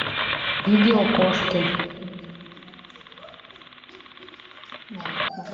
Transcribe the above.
видео кошки